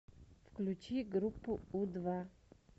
включи группу у два